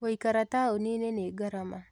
Gũikara taũni-inĩ nĩ ngarama